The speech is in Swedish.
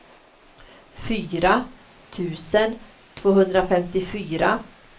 fyra tusen tvåhundrafemtiofyra